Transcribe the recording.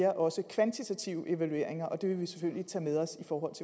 også kvantitative evalueringer og det vil vi selvfølgelig tage med os i